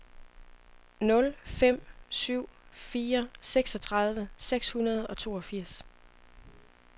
nul fem syv fire seksogtredive seks hundrede og toogfirs